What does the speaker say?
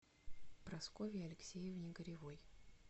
прасковье алексеевне горевой